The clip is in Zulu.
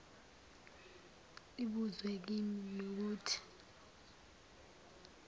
ibuzwe kimi nokuthi